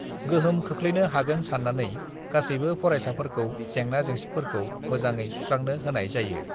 गोहोम खोख्लैनो हागोन साननानै गासैबो फरायसाफोरखौ जेंना जेंसिफोरखौ मोजाङै सुस्रांनो होनाय जायो।